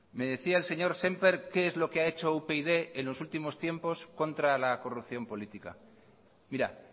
me decía el señor sémper qué es lo que ha hecho upyd en los últimos tiempos contra la corrupción política mira